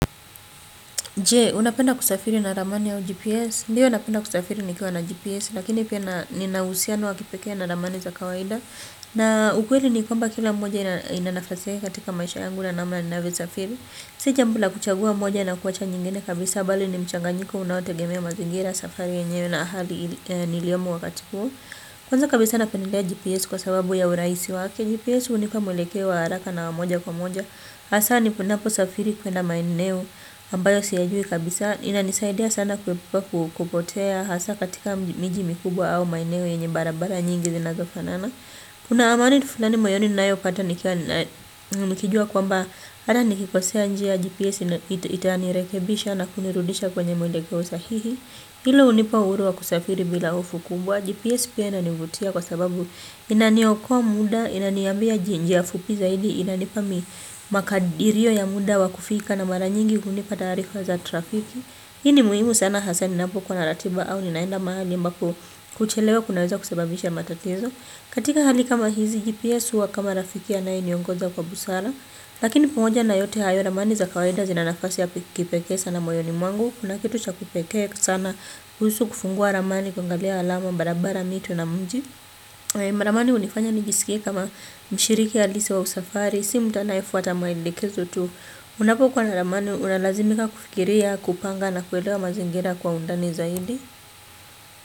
Je, unapenda kusafiri na ramani au GPS? Ndio napenda kusafiri nikiwa na GPS, lakini pia nina uhusiano wa kipekee na ramani za kawaida. Na ukweli ni kwamba kila mmoja ina nafasi yake katika maisha yangu na namna ninavyo safiri. Si jambo la kuchagua moja na kuacha nyingine kabisa bali ni mchanganyiko unaotegemea mazingira, safari yenyewe na hali niliomo wakati huu. Kwanza kabisa napendea GPS kwa sababu ya urahisi wake, GPS hunipa mwelekeo wa haraka na wa moja kwa moja hasa ninaposafiri kuenda maeneo ambayo siyajui kabisa inanisaidia sana kuepuka kupotea hasa katika miji mikubwa au maeneo yenye barabara nyingi zinazofanana kuna amani fulani moyoni ninayopata nikijua kwamba hata nikikosea njia gps itanirekebisha na kunirudisha kwenye mwelekeo sahihi, hilo hunipa uhuru wa kusafiri bila hofu kubwa. Gps pia inanivutia kwa sababu inaniokoa muda, inaniambia njia fupi zaidi, inanipa mi makadirio ya muda wa kufika na mara nyingi kunipa taarifa za trafiki. Hii ni muhimu sana hasa ninapokuwa na ratiba au ninaenda mahali ambako kuchelewa kunaweza kusababisha matatizo. Katika hali kama hizi GPS huwa kama rafiki anayeniongoza kwa busara. Lakini pamoja na yote hayo ramani za kawaida zina nafasi ya kipekee sana moyoni mwangu. Kuna kitu cha kipekee sana kuhusu kufungua ramani kuangalia alama, barabara, mito na mji. Ramani hunifanya nijisikie kama mshiriki halisi wa usafari, si mtu anayefuata maelekezo tu. Unapokuwa na ramani unalazimika kufikiria, kupanga na kuelewa mazingira kwa undani zaidi.